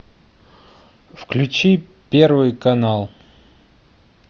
включи первый канал